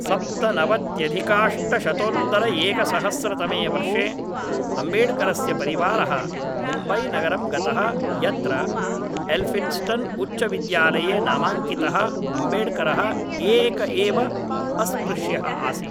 सप्तनवत्यधिकाष्टशतोत्तरएकसहस्रतमे वर्षे अम्बेड्करस्य परिवारः मुम्बैनगरं गतः यत्र एल्फिन्स्टन् उच्चविद्यालये नामाङ्कितः अम्बेड्करः एक एव अस्पृष्यः आसीत्